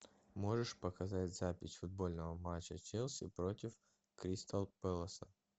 можешь показать запись футбольного матча челси против кристал пэласа